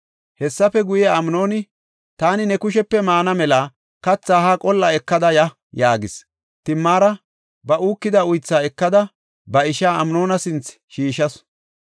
Hessafe guye, Amnooni, “Taani ne kushepe maana mela kathaa haa qol7a ekada ya” yaagis. Timaara ba uukida uythaa ekada, ba ishaa Amnoona sinthe shiishasu.